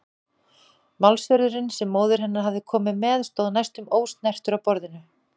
Málsverðurinn sem móðir hennar hafði komið með stóð næstum ósnertur á borðinu.